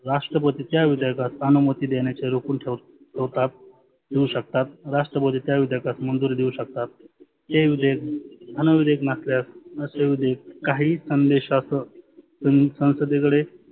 राष्ट्रपतीच्या उदयाचा सहानुमती देण्याचे रोकुन ठेव ठेवतात. देऊ शकतात. राष्ट्रपती त्या विधयकात मंजुरी देऊ शकतात. हे विधेयक अन विधेयक नसल्यास काही संदेशाच सं संसदे कडे